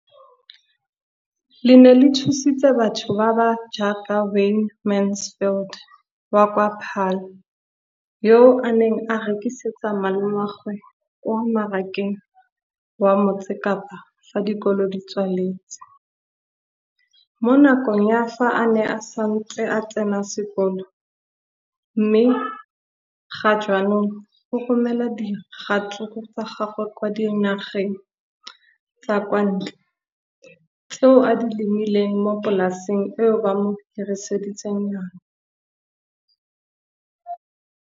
Leno le thusitse batho ba ba jaaka Wayne Mansfield, 33, wa kwa Paarl, yo a neng a rekisetsa malomagwe kwa Marakeng wa Motsekapa fa dikolo di tswaletse, mo nakong ya fa a ne a santse a tsena sekolo, mme ga jaanong o romela diratsuru tsa gagwe kwa dinageng tsa kwa ntle tseo a di lemileng mo polaseng eo ba mo hiriseditseng yona.